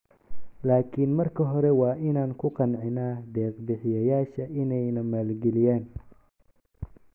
Laakin marka hore waa inaan ku qancinnaa deeq bixiyayaasha inay na maalgeliyaan."